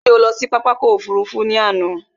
Ṣé o lọ sí pápá ọkò òfurufú ni àná?